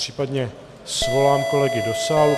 Případně svolám kolegy do sálu.